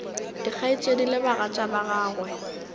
dikgaetšedi le bagatša ba gagwe